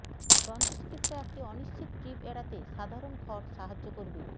দন্তচিকিৎসা একটি অনিশ্চিত ট্রিপ এড়াতে সাধারণ খড় সাহায্য করবে